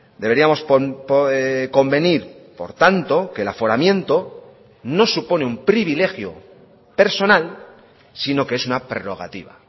deberíamos convenir por tanto que el aforamiento no supone un privilegio personal sino que es una prerrogativa